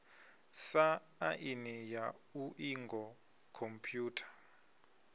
sa aini ya iuingo khomphutha